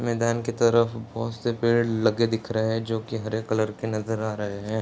मैदान के तरफ बहुत से पेड़ लगे दिख रहें हैं जोकि हरे कलर के नज़र आ रहें हैं।